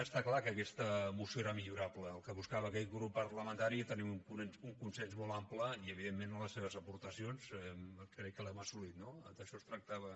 està clar que aquesta moció era millorable el que buscava aquest grup parlamentari era tenir un consens molt ample i evidentment amb les seves aportacions crec que l’hem assolit no d’això es tractava